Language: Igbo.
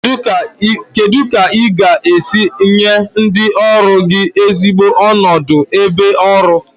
Kedu ka ị ga-esi nye ndị ọrụ gị ezigbo onodu ebe ọrụ?